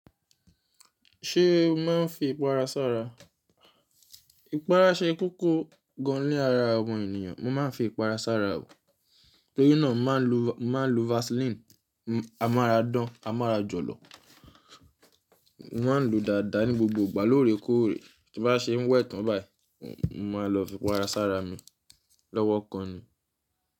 Ṣé o máa ń fi ipara ṣára? Ipara ṣe kókó gan-an ní ara omo ènìyàn. Mo máa ń fi ipara ṣára o. Torí náà, n màá nlo, n màá nlo Vaseline. A mára dán, a mára jọ̀lọ̀. Mo máa ń lo dáadáa ní gbogbo ìgbà lórè kóòrè. Ti bá ṣe ń wẹ̀ tán báyìí, mo máa lọ fi ipara ṣára mi lọ́wọ́ kan ni.